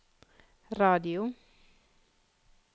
radio